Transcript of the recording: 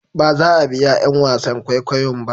baza a biya 'yan wasan kwaikwayon ba